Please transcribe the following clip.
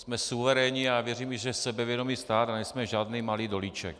Jsme suverénní a věřím, že sebevědomý stát, a nejsme žádný malý dolíček.